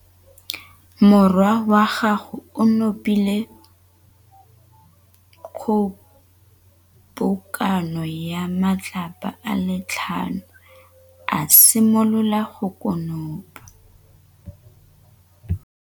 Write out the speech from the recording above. Morwa wa gagwe o nopile kgobokanô ya matlapa a le tlhano, a simolola go konopa.